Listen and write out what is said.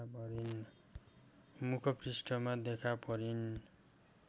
मुखपृष्ठमा देखा परिन्